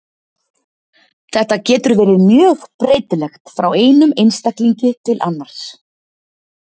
Þetta getur verið mjög breytilegt frá einum einstaklingi til annars.